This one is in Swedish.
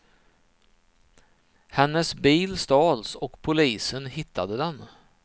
Hennes bil stals och polisen hittade den.